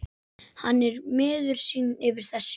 Hann er miður sín yfir þessu.